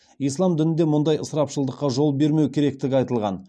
ислам дінінде мұндай ысырапшылдыққа жол бермеу керектігі айтылған